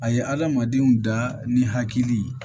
A ye hadamadenw da ni hakili ye